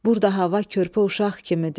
Burda hava körpə uşaq kimidir.